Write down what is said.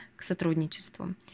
к сотрудничеству